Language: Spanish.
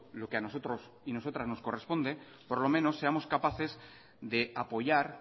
lo que a nosotros y a nosotras nos corresponde por lo menos seamos capaces de apoyar